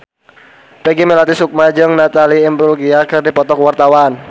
Peggy Melati Sukma jeung Natalie Imbruglia keur dipoto ku wartawan